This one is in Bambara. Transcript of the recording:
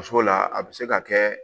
Muso la a bɛ se ka kɛ